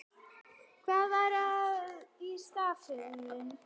Hvað er kulnun í starfi?